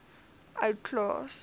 ou klaas